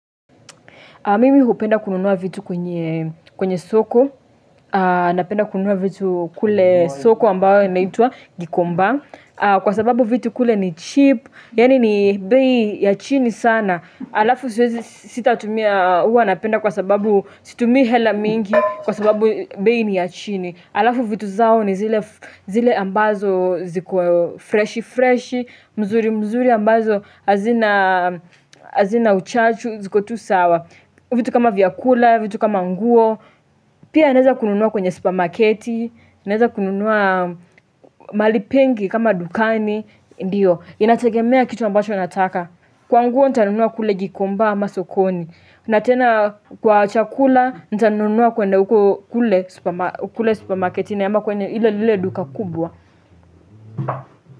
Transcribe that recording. Mimi hupenda kununua vitu kwenye soko, napenda kununua vitu kule soko ambayo inaitwa gikomba. Kwa sababu vitu kule ni cheap, yaani ni bei ya chini sana. Alafu sitatumia huwa napenda kwa sababu situmii hela mingi, kwa sababu bei ni ya chini. Alafu vitu zao ni zile ambazo ziko freshi, freshi mzuri mzuri ambazo hazina uchachu, ziko tu sawa. Vitu kama vyakula, vitu kama nguo, pia ninaeza kununua kwenye supermarketi, naeza kununua mahali pengi kama dukani, ndio, inategemea kitu ambacho nataka. Kwa nguo nitanunua kule gikomba ama sokoni, na tena kwa chakula nitanunua kwenda huko kule supermarketi na ama kwenye lile duka kubwa.